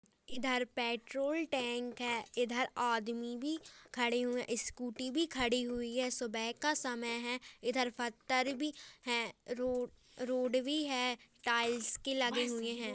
इधर petrol tank है इधर आदमी भी खड़े हुए स्कूटी भी खड़ी हुई है सुबह का समय है इधर पत्थर भी हैं रो-रोड भी है टाइल्स के लगे हुए हैं।